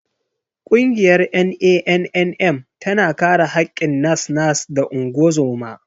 Ƙungiyar NANNM tana kare haƙƙin nas-nas da ungozoma.